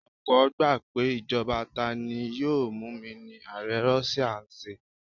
Ọ̀pọ́ gbà pé ìjọba tani-yóò-múni ni ààrẹ Russia ń ṣe.